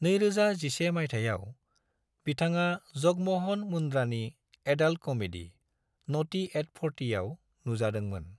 2011 मायथाइयाव, बिथाङा जगम'हन मुंद्रानि एडाल्ट कमेडी, न'टी @ 40 आव नुजादोंमोन।